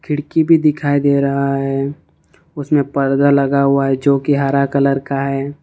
खिड़की भी दिखाई दे रहा है उसमें पर्दा लगा हुआ है जोकि हरा कलर का है।